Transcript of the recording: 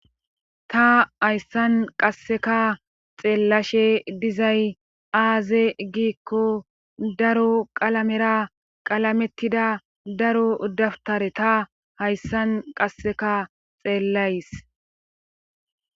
Ta hayssan qasseka xeellashe dizay aaze giikko daro qalamera qalamettida daro udaftare ta hayssan qasseka xeellays